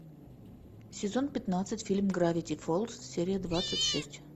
сезон пятнадцать фильм гравити фолз серия двадцать шесть